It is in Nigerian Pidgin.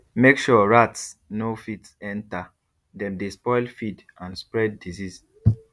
make sure rats no fit enter dem dey spoil feed and spread disease